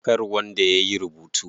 Kar wanda yayi rubutu.